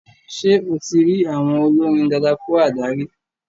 Ṣé o ti rí àwon olórin dadakúádà rí?